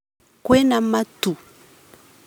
Kwĩna matu